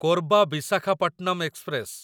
Korba Visakhapatnam express